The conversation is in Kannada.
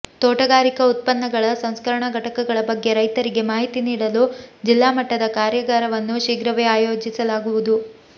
ತೋಟಗಾರಿಕಾ ಉತ್ಪನ್ನಗಳ ಸಂಸ್ಕ ರಣಾ ಘಟಕಗಳ ಬಗ್ಗೆ ರೈತರಿಗೆ ಮಾಹಿತಿ ನೀಡಲು ಜಿಲ್ಲಾಮಟ್ಟದ ಕಾರ್ಯಾಗಾರ ವನ್ನು ಶೀಘ್ರವೇ ಆಯೋಜಿಸಲಾಗು ವುದು